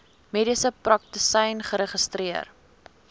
mediese praktisyn geregistreer